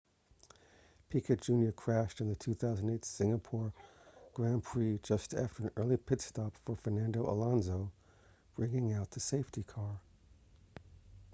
piquet jr crashed in the 2008 singapore grand prix just after an early pit stop for fernando alonso bringing out the safety car